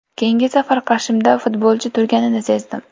Keyingi safar qarshimda futbolchi turganini sezdim.